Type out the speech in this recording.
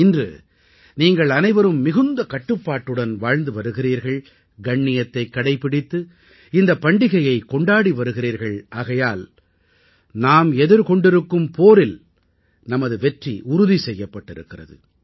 இன்று நீங்கள் அனைவரும் மிகுந்த கட்டுப்பாட்டுடன் வாழ்ந்து வருகிறீர்கள் கண்ணியத்தைக் கடைப்பிடித்து இந்தப் பண்டிகையைக் கொண்டாடி வருகிறீர்கள் ஆகையால் நாம் எதிர்கொண்டிருக்கும் போரில் நமது வெற்றி உறுதி செய்யப்பட்டிருக்கிறது